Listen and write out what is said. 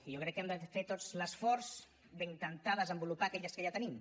i jo crec que hem de fer tots l’esforç d’intentar desenvolupar aquelles que ja tenim